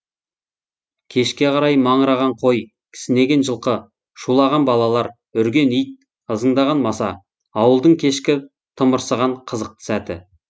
кешке қарай маңыраған қой кісінеген жылқы шулаған балалар үрген ит ызыңдаған маса ауылдың кешкі тымырсыған қызықты сәті